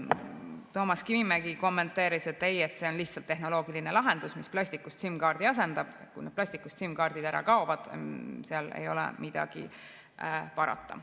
Toomas Kivimägi kommenteeris, et ei, see on lihtsalt tehnoloogiline lahendus, mis plastikust SIM-kaardid asendab, kui need plastikust SIM-kaardid ära kaovad, seal ei ole midagi parata.